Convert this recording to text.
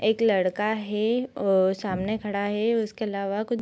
एक लड़का है ओ सामने खड़ा है उसके अलावा कुछ --